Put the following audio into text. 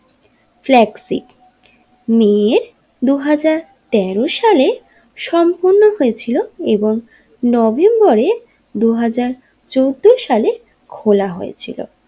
Flagship নিয়ে দুহাজার তেরো সালে সম্পূর্ণ হয়েছিল এবং নভেম্বরে দুহাজার চোদ্দো সালে খোলা হয়েছিল।